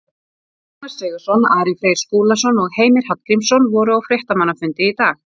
Ragnar Sigurðsson, Ari Freyr Skúlason og Heimir Hallgrímsson voru á fréttamannafundi í dag.